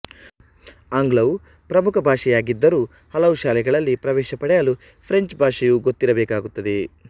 ಆಂಗ್ಲವು ಪ್ರಮುಖ ಭಾಷೆಯಾಗಿದ್ದರೂ ಕೆಲವು ಶಾಲೆಗಳಲ್ಲಿ ಪ್ರವೇಶ ಪಡೆಯಲು ಫ್ರೆಂಚ್ ಭಾಷೆಯೂ ಗೊತ್ತಿರಬೇಕಾಗುತ್ತದೆ